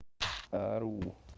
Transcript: ору